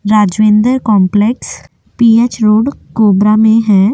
Rajvender complex PH road Korba में है।